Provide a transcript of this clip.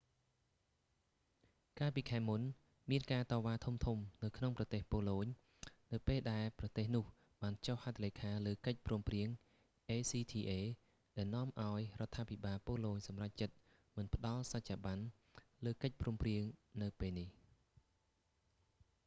កាលពីខែមុន មានការតវ៉ាធំៗនៅក្នុងប្រទេស ប៉ូឡូញ នៅពេលដែលប្រទេសនោះបានចុះហត្ថលេខាលើកិច្ចព្រមព្រៀង acta ដែលនាំឱ្យរដ្ឋាភិបាលប៉ូឡូញសម្រេចចិត្តមិនផ្តល់សច្ចាប័នលើកិច្ចព្រមព្រៀងនៅពេលនេះ